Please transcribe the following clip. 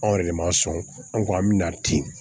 Anw yɛrɛ de ma sɔn an ko an bɛna ten